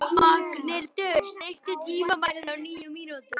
Magnhildur, stilltu tímamælinn á níu mínútur.